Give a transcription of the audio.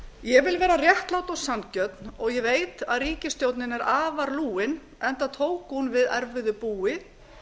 ég vil vera réttlát og sanngjörn og ég veit að ríkisstjórnin er afar lúin enda tók hún við erfiðu búi